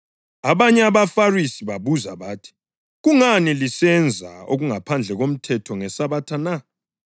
Abanye abaFarisi babuza bathi, “Kungani lisenza okungaphandle komthetho ngeSabatha na?”